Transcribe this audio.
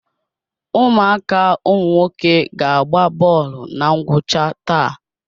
Ụmụaka ụmụnwoke ga agba bọọlụ na ngwụcha taa.